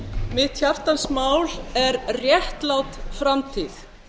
mitt hjartans mál er réttlát framtíð